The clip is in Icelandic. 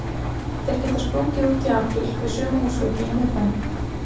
Þeir geta sprungið út í apríl við suma húsveggi í miðbænum.